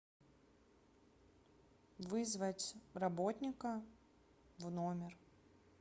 вызвать работника в номер